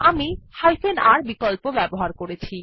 আমি হাইফেনr বিকল্প ব্যবহার করেছি